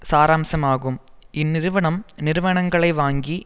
சாராம்சம் ஆகும் இந்நிறுவனம் நிறுவனங்களை வாங்கி